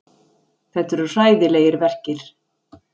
Þetta eru hræðilegir verkir.